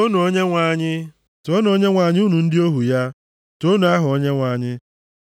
Toonu Onyenwe anyị! Toonu Onyenwe anyị unu ndị ohu ya. Toonu aha Onyenwe anyị.